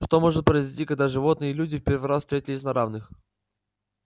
что может произойти когда животные и люди в первый раз встретились на равных